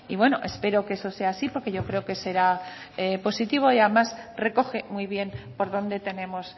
bueno espero que eso sea así porque yo creo que será positivo y además recoge muy bien por dónde tenemos